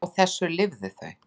Á þessu lifðu þau.